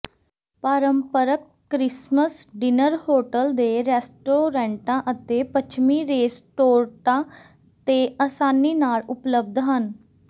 ਪਾਰੰਪਰਕ Christmas dinner hotel ਦੇ ਰੈਸਟੋਰੈਂਟਾਂ ਅਤੇ ਪੱਛਮੀ ਰੇਸਟੋਰਟਾਂ ਤੇ ਆਸਾਨੀ ਨਾਲ ਉਪਲਬਧ ਹਨ